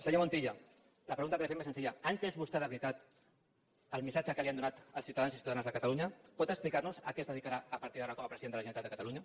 senyor montilla la pregunta que li fem és senzilla ha entès vostè de veritat el missatge que li han donat els ciutadans i ciutadanes de catalunya pot explicar nos a què es dedicarà a partir d’ara com a president de la generalitat de catalunya